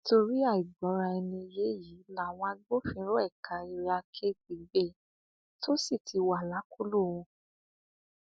nítorí àìgbọraẹniyé yìí làwọn agbófinró ẹka area k ti gbé e tó sì ti wà lákọlò wọn